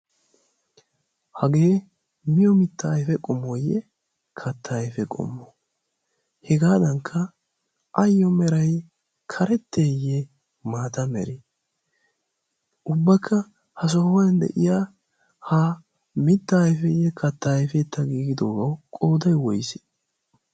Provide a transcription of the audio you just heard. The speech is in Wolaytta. hagee miyo mitta ayfe qomooyye katta ayfe qommo hegaadankka ayyo meray karetteeyye maata meri ubbakka ha sohuwan de'iya ha mitta ayfeeyye katta ayfetta giigidoogaa qooday woyise?